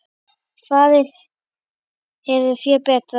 Farið hefur fé betra.